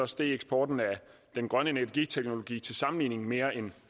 steg eksporten af den grønne energiteknologi til sammenligning mere end